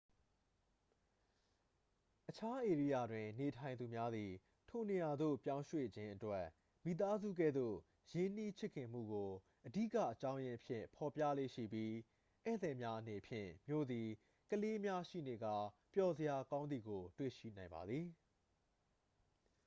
အခြားဧရိယာတွင်နေထိုင်သူများသည် ထိုနေရာသို့ပြောင်းရွှေ့ခြင်းအတွက် မိသားစုကဲ့သို့ရင်းနှီးချစ်ခင်မှုကို အဓိကအကြောင်းရင်းအဖြစ် ဖော်ပြလေ့ရှိပြီး ဧည့်သည်များအနေဖြင့် မြို့သည် ကလေးများရှိနေကာ ပျော်စရာကောင်းသည်ကို တွေ့ရှိနိုင်ပါသည်